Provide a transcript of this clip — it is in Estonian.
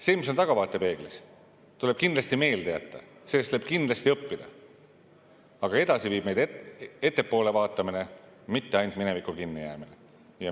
See, mis on tahavaatepeeglis, tuleb kindlasti meelde jätta, sellest tuleb kindlasti õppida, aga edasi viib meid ettepoole vaatamine, mitte minevikku kinnijäämine.